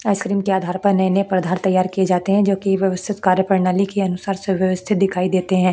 Ice cream के आधार पर नए नए पदार्थ तैयार किये जाते हैं जो कि व्यवस्थित कार्य प्रणाली के अनुसार सुव्यस्थित दिखाई देते हैं।